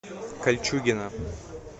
кольчугино